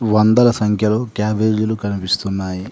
వందల సంఖ్యలో కేబుబేజీ లు కనిపిస్తున్నాయి.